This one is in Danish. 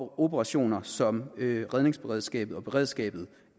og operationer som redningsberedskabet og beredskabet